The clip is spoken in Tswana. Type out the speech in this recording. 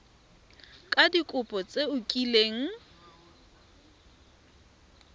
ka dikopo tse o kileng